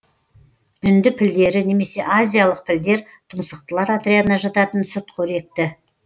үнді пілдері немесе азиялық пілдер тұмсықтылар отрядына жататын сүтқоректі